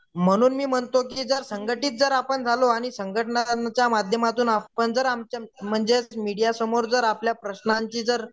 म्हणुन मी म्हणतो की जर संघटित जर आपण झालो आणि संघटनेच्या माध्यमातून आपण जर म्हणजे मीडियासमोर जर आपल्या प्रश्नांची जर